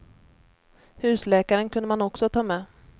Husläkaren kunde man också ta med.